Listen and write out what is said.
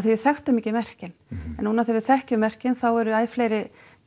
af því við þekktum ekki merkin en núna þegar við þekkjum merkin þá eru æ fleiri